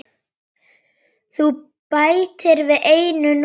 Þú bætir við einu núlli.